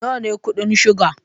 Nawa ne kuɗin shuga?